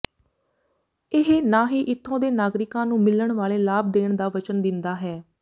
ਇਹ ਨਾ ਹੀ ਇਥੋਂ ਦੇ ਨਾਗਰਿਕਾਂ ਨੂੰ ਮਿਲਣ ਵਾਲੇ ਲਾਭ ਦੇਣ ਦਾ ਵਚਨ ਦਿੰਦਾ ਹੈ